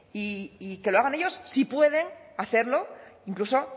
y que lo hagan ellos si pueden hacerlo incluso